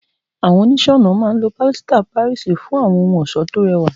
Àwọn oníṣẹ́-ọnà máa ń lo pilasita Páríìsì fún àwọn ohun ọ̀ṣọ́ tó rẹwà.